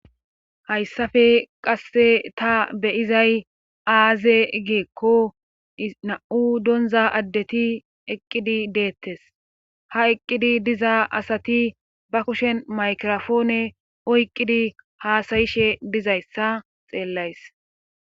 Hayssafe qasse ta beyizay aaze geekko na'u donza addeti eqqidi deettes ha eqqidi diza asati ba kushen maykrofoone oyqqidi haasayishe dizayssa xeellays.